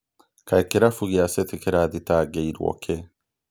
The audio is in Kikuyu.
Kaĩ kĩrabu gĩa City kĩrathitangĩirwo kĩ?